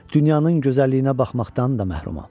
Dünyanın gözəlliyinə baxmaqdan da məhrumam.